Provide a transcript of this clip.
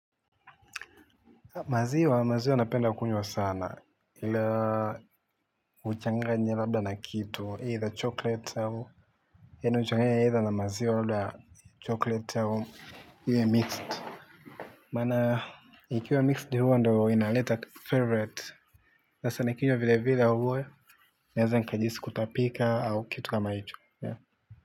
Maziwa maziwa napenda kunywa sana ila uchanganye labda na kitu either chochote au yaani uchanganye eitha na maziwa labda choklete au iwe mixed maana ikiwa mixed huwa ndio inaleta favorite sasa nikinywa vile vile huwa naeza nikajihisi kutapika au kitu kama hicho ya.